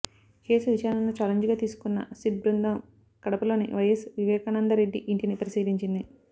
case విచారణను challenge గా తీసుకున్న సిట్ బృందం కడపలోని వైయస్ వివేకానందరెడ్డి ఇంటిని పరిశీలించింది